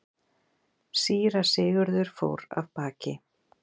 Síra Sigurður fór af baki.